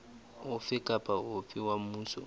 ofe kapa ofe wa mmuso